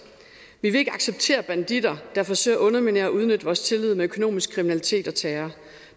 vi vil ikke acceptere banditter der forsøger at underminere og udnytte vores tillid med økonomisk kriminalitet og terror